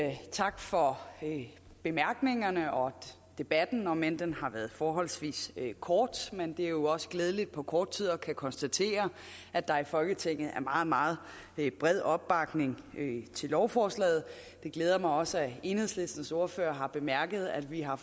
tak for bemærkningerne og debatten om end den har været forholdsvis kort men det er jo også glædeligt på kort tid at kunne konstatere at der i folketinget er meget meget bred opbakning til lovforslaget det glæder mig også at enhedslistens ordfører har bemærket at vi har